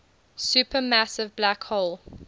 supermassive black hole